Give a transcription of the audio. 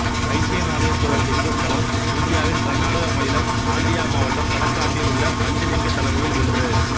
வைத்தியநாதேசுவரர் லிங்கத்தலம் இந்தியாவின் கர்நாடக மாநிலம் மாண்டியா மாவட்டம் தலக்காட்டில் உள்ள பஞ்ச லிங்க தலங்களில் ஒன்று